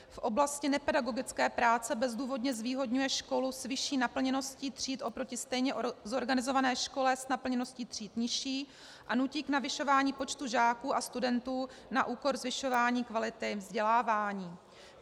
V oblasti nepedagogické práce bezdůvodně zvýhodňuje školu s vyšší naplněností tříd oproti stejně zorganizované škole s naplněností tříd nižší a nutí k navyšování počtu žáků a studentů na úkor zvyšování kvality vzdělávání.